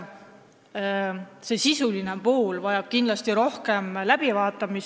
Sisuline pool vajab kindlasti rohkem läbivaatamist.